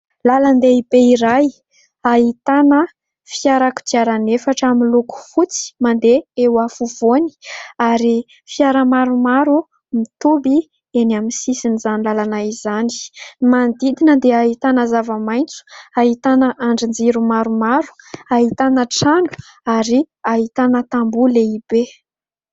Lalan-dehibe iray ahitana fiara-kodiara efatra miloko fotsy mandeha eo afovoany ary fiara maromaro mitoby eny amin'ny sisin’izany lalana izany. Manondidina dia ahitana zava-maintso, ahitana andrin-jiro maromaro , ahitana trano ary ahitana tambo lehibe.